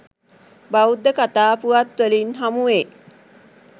බෞද්ධ කථා පුවත් වලින් හමුවේ.